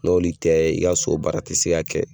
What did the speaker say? N'oli tɛ i ka sobaara tɛ se ka kɛ.